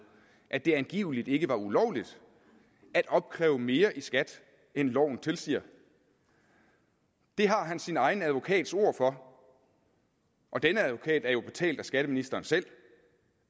at det angiveligt ikke var ulovligt at opkræve mere i skat end loven tilsiger det har han sin egen advokats ord for og denne advokat er jo betalt af skatteministeren selv